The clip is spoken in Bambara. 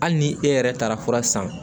Hali ni e yɛrɛ taara fura san